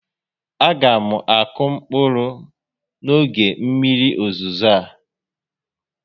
A ga m akụ mkpụrụ m n'oge mmiri ozizo a